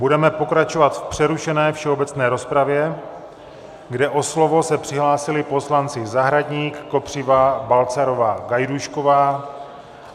Budeme pokračovat v přerušené všeobecné rozpravě, kde o slovo se přihlásili poslanci Zahradník, Kopřiva, Balcarová, Gajdůšková.